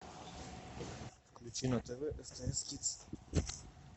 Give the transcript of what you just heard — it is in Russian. включи на тв стс кидс